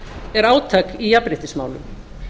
er átak í jafnréttismálum